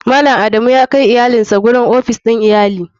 Malam adamu yakai iyalinsa zuwa ofis din tsarin iyali.